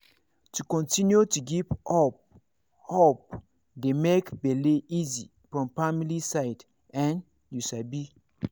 to continue to give hope hope dey make bele easy from family side[um]you sabi